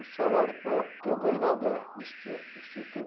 um salário e pouco que eu ganho lá da do insti instituto.